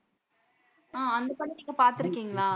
ஆ அந்தப் படம் நீங்க பாத்திருக்கீங்களா?